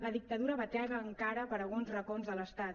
la dictadura batega encara per alguns racons de l’estat